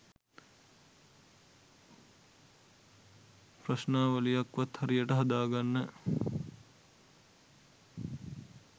ප්‍රශ්නාවලියක් වත් හරියට හදා ගන්න